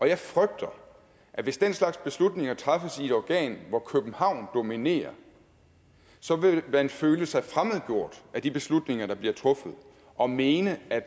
jeg frygter at hvis den slags beslutninger træffes i et organ hvor københavn dominerer så vil man føle sig fremmedgjort af de beslutninger der bliver truffet og mene at